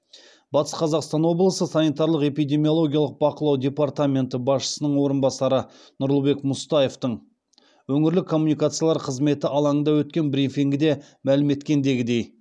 батыс қазақстан облысы санитарлық эпидемиологиялық бақылау департаменті басшысының орынбасары нұрлыбек мұстаевтың өңірлік коммуникациялар қызметі алаңында өткен брифингіде мәлім еткендегідей